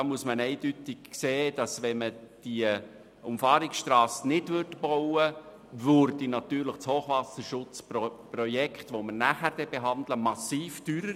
Das Hochwasserschutzprojekt, das wir später behandeln, würde sicher massiv teurer, wenn man diese Umfahrungsstrasse nicht baut.